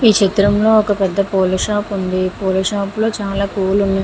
ఈ చిత్రం లో ఒక పెద్ధ పూల షాప్ ఉంది పూల షాప్ లో చాలా పూలు ఉన్నాయి .